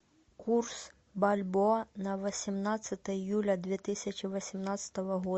курс бальбоа на восемнадцатое июля две тысячи восемнадцатого года